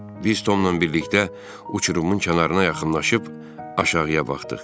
Biz Tomla birlikdə uçurumun kənarına yaxınlaşıb aşağıya baxdıq.